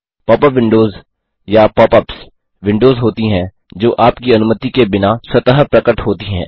pop up windows या pop ups windows होती हैं जो आपकी अनुमति के बिना स्वतः प्रकट होती हैं